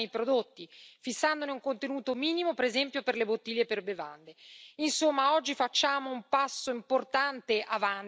Allo stesso tempo incentiviamo anche l'utilizzo della plastica riciclata nei prodotti, fissandone un contenuto minimo, per esempio, per le bottiglie per bevande.